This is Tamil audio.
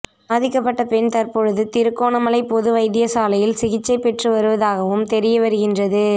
பாதிக்கப்பட்ட பெண் தற்பொழுது திருகோணமலை பொது வைத்தியசாலையில் சிகிச்சை பெற்று வருவதாகவும் தெரிய வருகின்றது